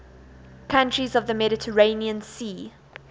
countries of the mediterranean sea